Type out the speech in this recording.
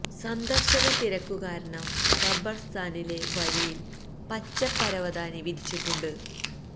സന്ദര്ശക തിരക്കു കാരണം ഖബര്സ്ഥാനിലെ വഴിയില് പച്ച പരവതാനി വിരിച്ചിട്ടുണ്ട്